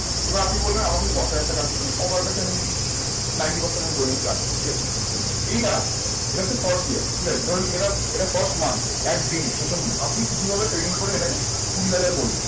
এবারে আপনি বলবেন, দশ হাজার টাকা সবার কাছে ninety percent আমি ধরে নিচ্ছি আছে। ঠিক আছে? এইবার, এইবারতো first year ঠিক আছে? ধরুন এটা এটা first month এক দিনে, প্রথম আপনি যেভাবে trading করে এলেন কুড়ি হাজার বলুন।